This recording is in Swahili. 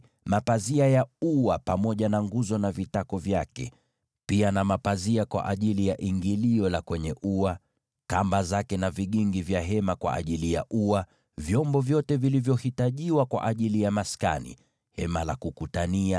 mapazia ya ua pamoja na nguzo na vitako vyake, pia na pazia kwa ajili ya ingilio la kwenye ua; kamba zake na vigingi vya hema kwa ajili ya ua; vyombo vyote vilivyohitajiwa kwa ajili ya maskani, Hema la Kukutania;